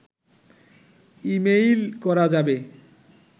email করা যাবে